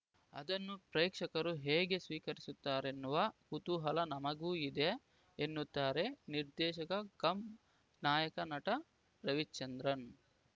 ಅದನ್ನು ಪ್ರೇಕ್ಷಕರು ಹೇಗೆ ಸ್ವೀಕರಿಸುತ್ತಾರೆನ್ನುವ ಕುತೂಹಲ ನಮಗೂ ಇದೆ ಎನ್ನುತ್ತಾರೆ ನಿರ್ದೇಶಕ ಕಮ್‌ ನಾಯಕ ನಟ ರವಿಚಂದ್ರನ್‌